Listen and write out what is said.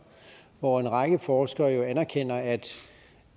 hvor en række forskere jo anerkender at